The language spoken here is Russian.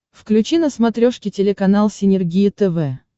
включи на смотрешке телеканал синергия тв